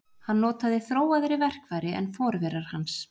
Hann notaði þróaðri verkfæri en forverar hans.